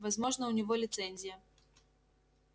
возможно у него лицензия